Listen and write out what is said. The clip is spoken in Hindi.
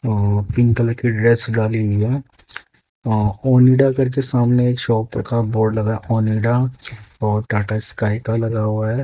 पिंक कलर की ड्रेस डाली हुई है ओनिडा करके सामने एक शॉप का बोर्ड लगा ओनिडा और टाटा स्काई का लगा हुआ है।